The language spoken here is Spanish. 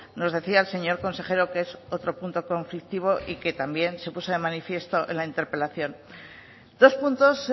nos decía el señor consejero que es otro punto conflictivo y que también se puso de manifiesto en la interpelación dos puntos